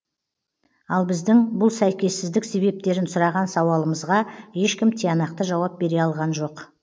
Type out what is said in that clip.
ал біздің бұл сәйкессіздік себептерін сұраған сауалымызға ешкім тиянақты жауап бере алған жоқ